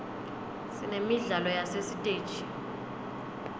sinemidlalo yasesiteji